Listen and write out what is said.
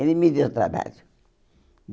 Ele me deu trabalho.